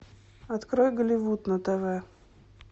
открой голливуд на тв